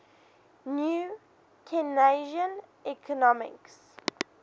new keynesian economics